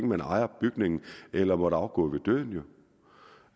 man ejer bygningen eller måtte afgå ved døden